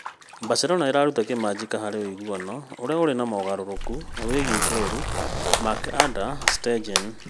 Barcelona ĩraruta kĩmanjĩka harĩ ũiguano ũrĩa ũrĩ na mogarũrũku wĩgiĩ ngoru Marc-Andre ter Stegen.